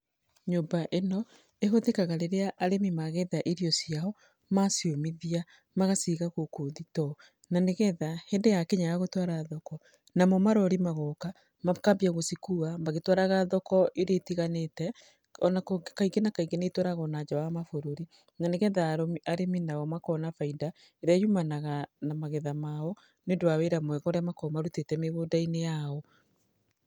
Nyũmba ĩno ĩhũthĩkaga rĩrĩa arĩmi magetha irio ciao. Maciũmithia magaciga gũkũ thitoo. Na nĩgetha hĩndĩ yakinya ya gũtwara thoko, namo marori magoka makambia gũcikua magĩtwaraga thoko irĩa itiganite. Ona kaingĩ na kaingĩ nĩ itwaragwo nja wa mabũrũri, na nĩ getha arĩmi nao makona baida ĩrĩa yumanaga na magetha mao nĩũndũ wa wĩra mwega ũrĩa makoragwo marutĩte mĩgũnda-inĩ yao.